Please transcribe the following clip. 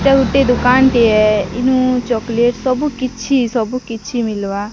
ଏଟା ଗୁଟେ ଦୁକାନ ଟିଏ ଏନୁ ଚକୋଲେଟ ସବୁ କିଛି ସବୁ କିଛି ମିଲବା।